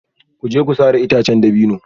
Ku je ku sare itacen dabino